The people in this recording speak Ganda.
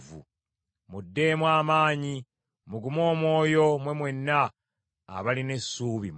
Muddeemu amaanyi mugume omwoyo mmwe mwenna abalina essuubi mu Mukama .